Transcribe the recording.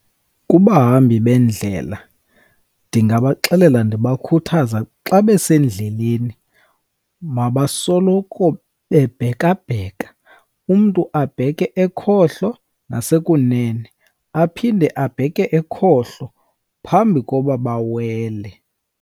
Kubahambi bendlela ndingabaxelela ndibakhuthaza, xa besendleleni mabasoloko bebhekabheka. Umntu abheke ekhohlo nasekunene, aphinde abheke ekhohlo phambi koba bawele.